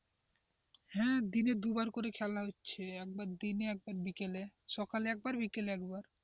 হ্যাঁ দিনে দুবার করে খেলা হচ্ছে, একবার দিনে একবার বিকেলে, সকালে একবার বিকেলে একবার,